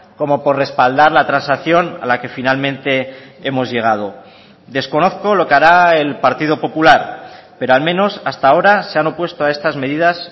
como por respaldar la transacción a la que finalmente hemos llegado desconozco lo que hará el partido popular pero al menos hasta ahora se han opuesto a estas medidas